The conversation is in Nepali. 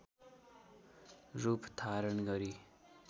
रूप धारण गरी